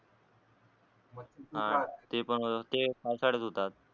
तेपण ते पावसाळयात होतात